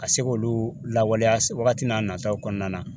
Ka se k'olu lawaleya wagati n'a nataw kɔnɔna na